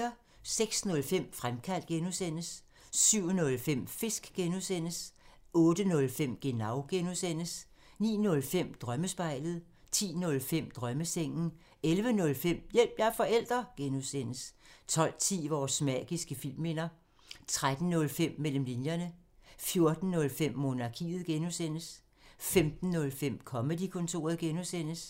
06:05: Fremkaldt (G) 07:05: Fisk (G) 08:05: Genau (G) 09:05: Drømmespejlet 10:05: Drømmesengen 11:05: Hjælp – jeg er forælder! (G) 12:10: Vores magiske filmminder 13:05: Mellem linjerne 14:05: Monarkiet (G) 15:05: Comedy-kontoret (G)